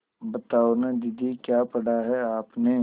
बताओ न दीदी क्या पढ़ा है आपने